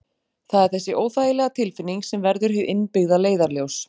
Það er þessi óþægilega tilfinning sem verður hið innbyggða leiðarljós.